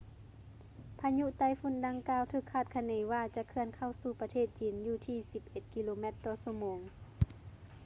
ພາຍຸໄຕ້ຝຸ່ນດັ່ງກ່າວ ຖືກຄາດຄະເນວ່າ ຈະເຄື່ອນເຂົ້າສູ່ປະເທດຈີນຢູ່ທີ່ສິບເອັດກິໂລແມັດຕໍ່ຊົ່ວໂມງ